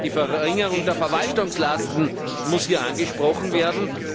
Die Verringerung der Verwaltungslasten muss hier angesprochen werden.